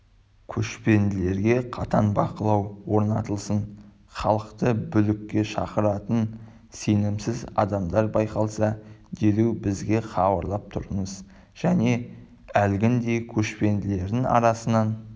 көшпенділерге қатаң бақылау орнатылсын халықты бүлікке шақыратын сенімсіз адамдар байқалса дереу бізге хабарлап тұрыңыз және әлгіндей көшпенділердің арасынан